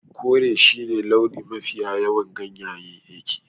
Kore shine launin mafiya yawan ganyayyakin